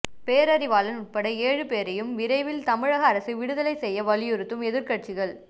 பேரறிவாளன் உட்பட ஏழு பேரையும் விரைவில் தமிழக அரசு விடுதலை செய்ய வலியுறுத்தும் எதிர்க்கட்சிகள்